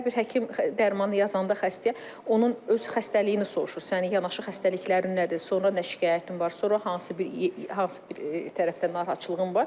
Hər bir həkim dərmanı yazanda xəstəyə onun öz xəstəliyini soruşur, sənin yanaşı xəstəliklərin nədir, sonra nə şikayətin var, sonra hansı bir, hansı bir tərəfdə narahatçılığın var.